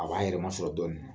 A b'a yɛrɛ masɔrɔ dɔɔn